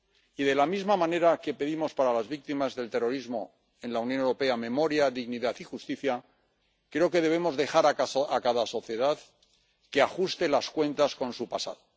Y, de la misma manera que pedimos para las víctimas del terrorismo en la Unión Europea memoria, dignidad y justicia, creo que debemos dejar a cada sociedad que ajuste las cuentas con su pasado.